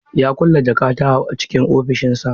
Ya kulle jakata a cikin ofishinsa.